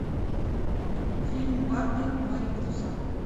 фильм барби марипоса